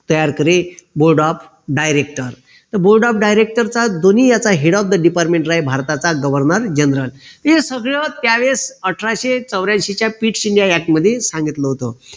तयार करे board of director तर board of director चा दोन्ही याचा head of department राहे भारताचा governor general हे सगळं त्यावेळेस अठराशे चौऱ्यांशीच्या मध्ये सांगितलं होत